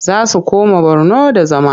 Za su koma Borno da zama.